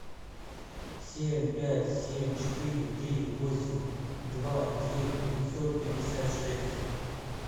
семь пять семь четыре три восемь два девять пятьсот пятьдесят шесть